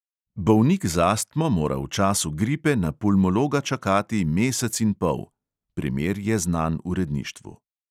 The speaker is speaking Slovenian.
Bolnik z astmo mora v času gripe na pulmologa čakati mesec in pol (primer je znan uredništvu).